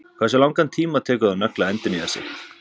Hversu langan tíma tekur það nögl að endurnýja sig?